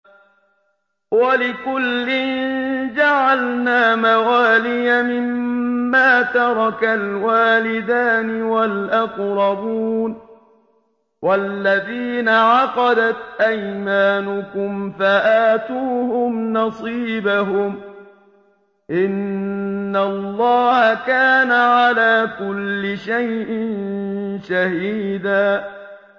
وَلِكُلٍّ جَعَلْنَا مَوَالِيَ مِمَّا تَرَكَ الْوَالِدَانِ وَالْأَقْرَبُونَ ۚ وَالَّذِينَ عَقَدَتْ أَيْمَانُكُمْ فَآتُوهُمْ نَصِيبَهُمْ ۚ إِنَّ اللَّهَ كَانَ عَلَىٰ كُلِّ شَيْءٍ شَهِيدًا